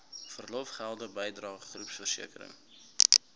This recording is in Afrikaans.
verlofgelde bydrae groepversekering